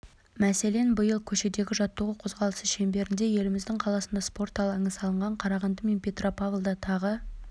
мәселен биыл көшедегі жаттығу қозғалысы шеңберінде еліміздің қаласында спорт алаңы салынған қарағанды мен петропавлда тағы